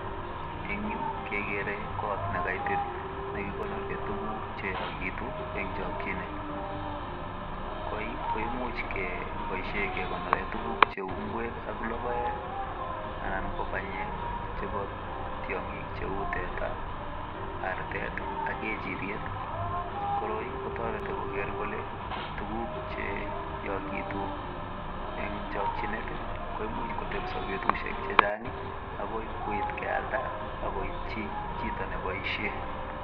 en yuu kegere kot nekaitit missing nekikonoren tuguk cheyokitun en chokyinet koi koimuch keboishen kekonoren tugun cheu ngwek ak logoek anan ko banyek chepo tiongik cheu teta artet ak kechiriet koroi kotoreti koger kole tuguk che yokitun en chokyinet ii koimuch kotebso betushek chechang agoi koit kealda akoityi chito neboishen